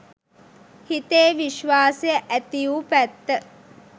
හිතේ විශ්වාසය ඇතිවු පැත්ත